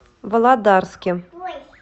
володарске